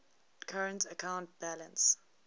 current account balance